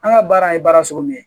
An ka baara in ye baara sugu min ye